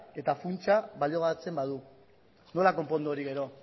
eta funtsa baliogabetzen badu nola konpondu hori gero